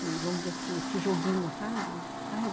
E, vamos dizer assim, esse joguinho, sabe?